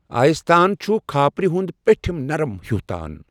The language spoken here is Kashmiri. آیس تان چھُ کھاپرِ ہُنٛد پیٚٹِھم نرم ہیُو تان